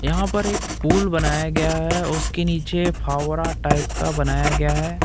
यहां पर एक पूल बनाया गया है उसके नीचे फावरा टाइप का बनाया गया है।